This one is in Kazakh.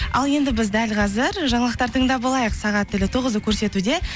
ал енді біз дәл қазір жаңалықтар тыңдап алайық сағат тілі тоғызды көрсетуде